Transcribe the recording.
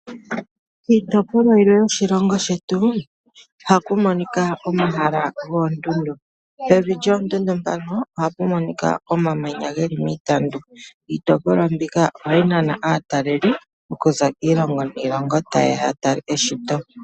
Miitopolwa yilwe yoshilongo ohaku monika omahala goondundu. Pevi lyoondundu ohapu monika iitandu yomamanya. Iitopolwa mbyoka ohayi nana aataleli okuza kiilongo niilongo taye ya ya tale eshito.